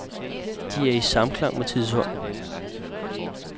De er i samklang med tidsånden.